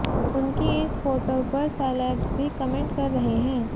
उनकी इस फोटो पर सेलेब्स भी कमेंट कर रहे हैं